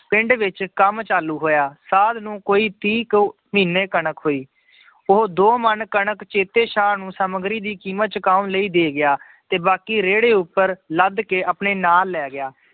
ਪਿੰਡ ਵਿੱਚ ਕੰਮ ਚਾਲੂ ਹੋਇਆ ਸਾਧ ਨੂੰ ਕੋਈ ਤੀਹ ਕੁ ਮਹੀਨੇ ਕਣਕ ਹੋਈ, ਉਹ ਦੋ ਮਣ ਕਣਕ ਚੇਤੇ ਸ਼ਾਹ ਨੂੰ ਸਮੱਗਰੀ ਦੀ ਕੀਮਤ ਚੁਕਾਉਣ ਲਈ ਦੇ ਗਿਆ, ਤੇ ਬਾਕੀ ਰੇੜੇ ਉੱਪਰ ਲੱਦ ਕੇ ਆਪਣੇ ਨਾਲ ਲੈ ਗਿਆ।